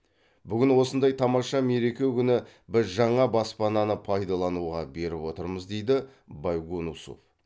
бүгін осындай тамаша мереке күні біз жаңа баспананы пайдалануға беріп отырмыз дейді байгонусов